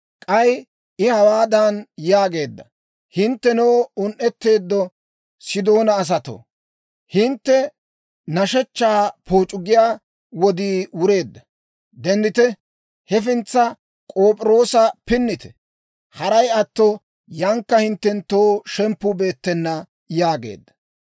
K'ay I hawaadan yaageedda; «Hinttenoo, un"etteeddo Sidoona asatoo, hintte nashshechchaa pooc'u giyaa wodii wureedda. Denddite; hefintsa K'op'iroosa pinnite. Haray atto yankka hinttenttoo shemppuu beettena» yaageedda.